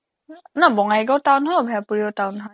নহয় বঙাইগাঁও town হয় অভয়াপুৰীও town হয়